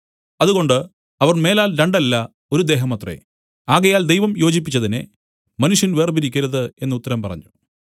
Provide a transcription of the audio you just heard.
അതുകൊണ്ട് അവർ മേലാൽ രണ്ടല്ല ഒരു ദേഹമത്രേ ആകയാൽ ദൈവം യോജിപ്പിച്ചതിനെ മനുഷ്യൻ വേർപിരിക്കരുത് എന്നു ഉത്തരം പറഞ്ഞു